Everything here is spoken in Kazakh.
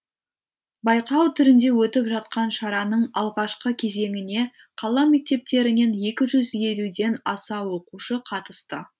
байқау түрінде өтіп жатқан шараның алғашқы кезеңіне қала мектептерінен екі жүз елуден аса оқушы қатысты